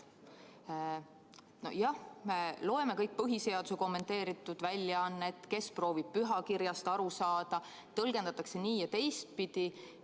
Jah, me loeme kõik põhiseaduse kommenteeritud väljaannet, mõni proovib pühakirjast aru saada, neid tõlgendatakse nii- ja teistpidi.